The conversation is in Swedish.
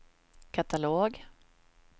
katalog